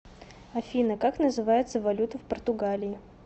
афина как называется валюта в португалии